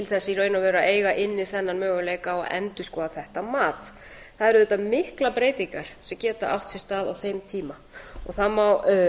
í raun og veru að eiga inni þennan möguleika á að endurskoða þetta mat það eru auðvitað miklar breytingar sem geta átt sér stað á þeim tíma og það má